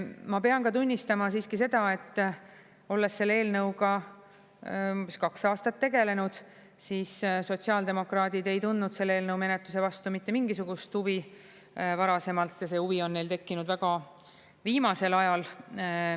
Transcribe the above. Ma pean tunnistama siiski seda, et olles selle eelnõuga umbes kaks aastat tegelenud, siis sotsiaaldemokraadid ei tundnud selle eelnõu menetluse vastu mitte mingisugust huvi varasemalt ja see huvi on neil tekkinud väga viimasel ajal.